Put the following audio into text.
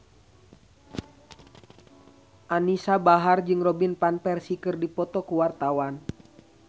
Anisa Bahar jeung Robin Van Persie keur dipoto ku wartawan